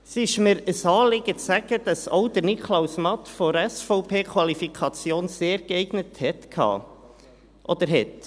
Es ist mir ein Anliegen zu sagen, dass auch Niklaus Matt von der SVP die Qualifikation «sehr geeignet» hatte oder hat.